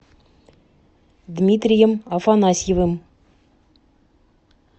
дмитрием афанасьевым